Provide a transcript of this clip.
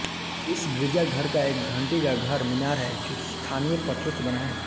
इस गिरजाघर का एक घंटी घर का मीनार है जो स्थानीय पत्थरों से बना है